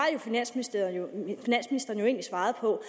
finansministeren jo egentlig svaret på